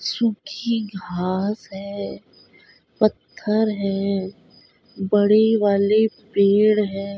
सूखी घास है पत्थर है बड़े वाले पेड़ हैं ।